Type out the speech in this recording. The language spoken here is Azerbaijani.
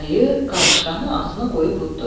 Ayı qarışqanı ağzına qoyub udddu.